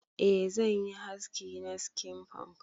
Eh zanyi haski na skin punk.